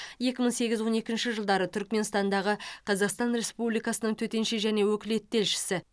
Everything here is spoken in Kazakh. екі мың сегіз он екінші жылдары түрікменстандағы қазақстан республикасының төтенше және өкілетті елшісі